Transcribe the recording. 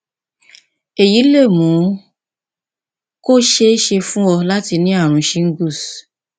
èyí lè mú kó ṣeé ṣe fún ọ láti ní ààrùn shingles